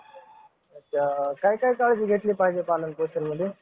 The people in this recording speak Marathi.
अच्छा काय काय काळजी घेतली पाहिजे पालन पोषणमध्ये